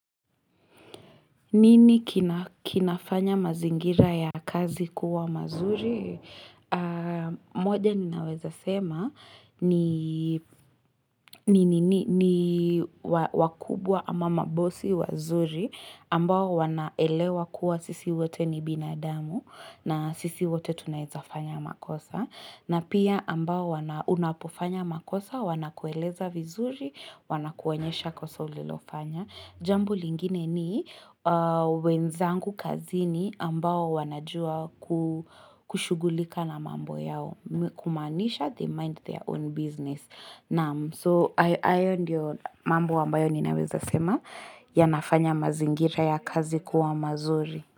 Nini kinafanya mazingira ya kazi kuwa mazuri? Moja ninaweza sema ni wakubwa ama mabosi wazuri ambao wanaelewa kuwa sisi wote ni binadamu na sisi wote tunaweza fanya makosa. Na pia ambao wana unapofanya makosa wana kueleza vizuri, wana kuonyesha kosa ulilofanya. Jambo lingine ni wenzangu kazini ambao wanajua kushughulika na mambo yao, kumaanisha they mind their own business. So hayo ndio mambo ambayo ninaweza sema yanafanya mazingira ya kazi kuwa mazuri.